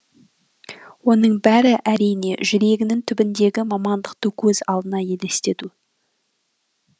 оның бәрі әрине жүрегінін түбіндегі мамандықты көз алдына елестету